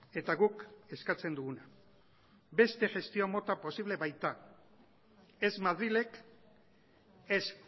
eta guk eskatzen duguna beste gestio mota posible baita ez madrilek ez